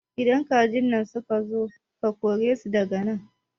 Idan kajin nan suka zo ka kore su daga nan